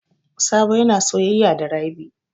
Sabo yana soyaya da Rabi.